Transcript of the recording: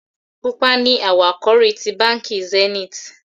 Pupa ní awọ àkòrí tí bánkì Zenith